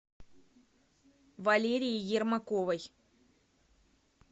валерии ермаковой